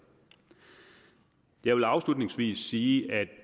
jeg vil afslutningsvis sige